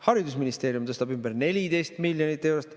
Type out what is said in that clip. Haridusministeerium tõstab ümber 14 miljonit eurot.